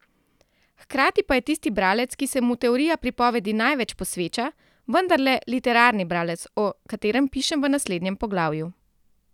Hkrati pa je tisti bralec, ki se mu teorija pripovedi največ posveča, vendarle literarni bralec, o katerem pišem v naslednjem poglavju.